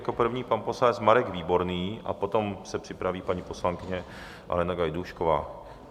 Jako první pan poslanec Marek Výborný a potom se připraví paní poslankyně Alena Gajdůšková.